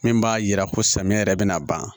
Min b'a yira ko samiyɛ yɛrɛ bina ban